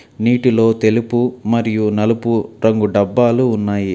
నీటిలో తెలుపు మరియు నలుపు రంగు డబ్బాలు ఉన్నాయి.